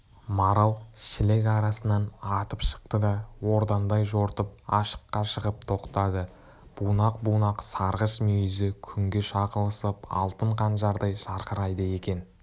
марал шілік арасынан атып шықты да ордаңдай жортып ашыққа шығып тоқтады бунақ-бунақ сарғыш мүйізі күнге шағылысып алтын қанжардай жарқырайды екен